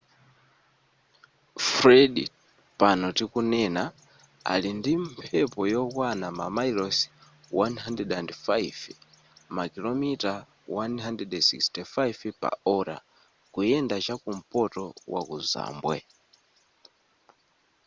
fred pano tikunena ali ndi mphepo yokwana mamayilosi 105 makilomita 165 pa ola kuyenda chakumpoto waku zambwe